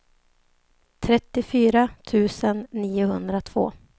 trettiofyra tusen niohundratvå